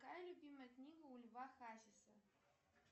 какая любимая книга у льва хасиса